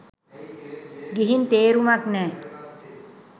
ගිහින් තේරුමක් නෑ.